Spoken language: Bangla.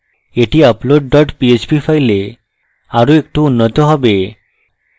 এটি upload dot php file আরো একটু উন্নত হবে